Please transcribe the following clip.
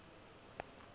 ge e le ee e